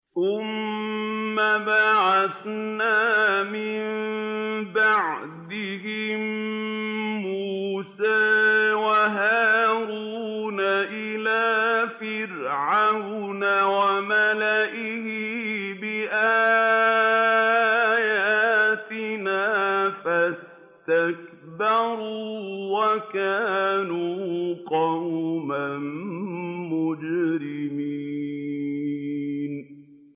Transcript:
ثُمَّ بَعَثْنَا مِن بَعْدِهِم مُّوسَىٰ وَهَارُونَ إِلَىٰ فِرْعَوْنَ وَمَلَئِهِ بِآيَاتِنَا فَاسْتَكْبَرُوا وَكَانُوا قَوْمًا مُّجْرِمِينَ